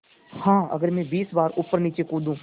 हाँ अगर मैं बीस बार ऊपरनीचे कूदूँ